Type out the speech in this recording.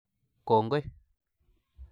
Kongoi